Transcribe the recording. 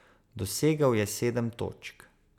Dosegel je sedem točk.